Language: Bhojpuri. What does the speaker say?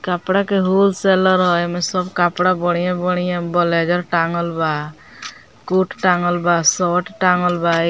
कपड़ा के होलसेलर ह एमें सब कपड़ा बढ़िया-बढ़िया ब्लेजर टाँगल बा कोट टाँगल बा शर्ट टाँगल बा ए --